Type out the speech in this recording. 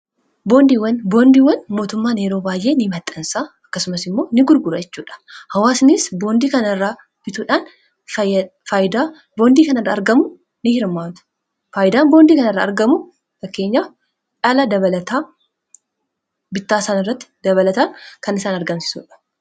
boondiiwwan mootummaan heroo baay'ee ni maxxansa akkasumas immoo n gurgurachuudha hawaasnis bondii kana irraa bituudhaangam n hirmaamtu faayidaan boondii kana irraa argamu takkeenyaa dhala bittaasan irratti dabalataan kan isaan argamsiisuudha